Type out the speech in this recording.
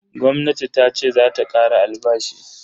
Gwamnati tace zata kara albashi.